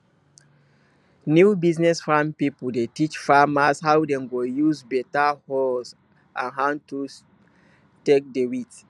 new business farm pipo dey teach farmers how dem go use better hoes and hand tools take dey weed